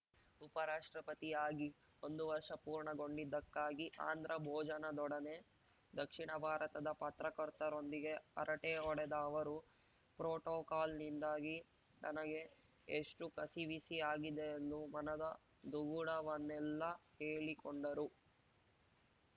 ಉಪರಾಷ್ಟ್ರ ಪತಿ ಆಗಿ ಒಂದು ವರ್ಷ ಪೂರ್ಣಗೊಂಡಿದ್ದಕ್ಕಾಗಿ ಆಂಧ್ರ ಭೋಜನದೊಡನೆ ದಕ್ಷಿಣ ಭಾರತದ ಪತ್ರಕರ್ತರೊಂದಿಗೆ ಹರಟೆ ಹೊಡೆದ ಅವರು ಪ್ರೋಟೋಕಾಲ್ನಿಂದಾಗಿ ತನಗೆ ಎಷ್ಟುಕಸಿವಿಸಿ ಆಗಿದೆ ಎಂದು ಮನದ ದುಗುಡವನ್ನೆಲ್ಲ ಹೇಳಿಕೊಂಡರು